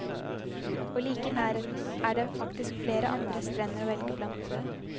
Og like i nærheten er det faktisk flere andre strender å velge blant.